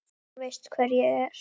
Þú veist hver ég er.